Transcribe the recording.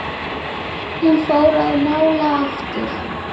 Hún fór að mála aftur.